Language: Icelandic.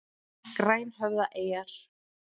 Grænhöfðaeyjar